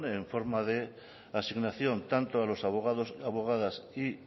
en forma de asignación tanto a los abogados abogadas y